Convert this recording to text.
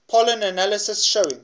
pollen analysis showing